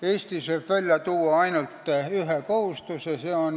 Eestis võib välja tuua ainult ühe kohustuse.